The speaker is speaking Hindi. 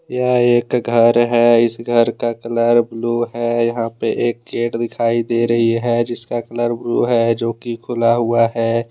यह एक घर है। इस घर का कलर ब्लू है यहां पे एक गेट दिखाई दे रही हैजिसका कलर ब्लू है जो कि खुला हुआ है।